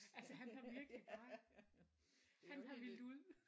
Altså han kom virkelig bare han havde villet ud